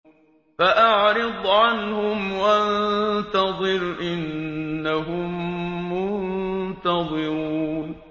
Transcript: فَأَعْرِضْ عَنْهُمْ وَانتَظِرْ إِنَّهُم مُّنتَظِرُونَ